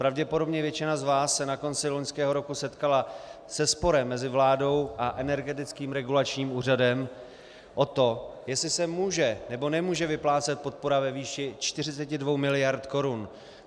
Pravděpodobně většina z vás se na konci loňského roku setkala se sporem mezi vládou a Energetickým regulačním úřadem o to, jestli se může, nebo nemůže vyplácet podpora ve výši 42 mld. korun.